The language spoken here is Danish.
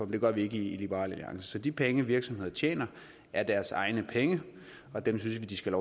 det gør vi ikke i liberal alliance så de penge virksomhederne tjener er deres egne penge og dem synes vi de skal